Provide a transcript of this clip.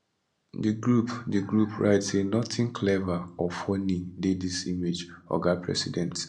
di group di group write say nothing clever or funny dey dis image oga president